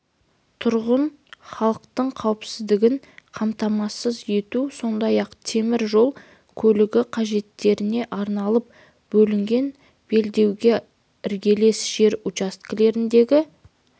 тұрғын халықтың қауіпсіздігін қамтамасыз ету сондай-ақ темір жол көлігі қажеттеріне арналып бөлінген белдеуге іргелес жер учаскелеріндегі